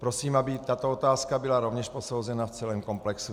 Prosím, aby tato otázka byla rovněž posouzena v celém komplexu.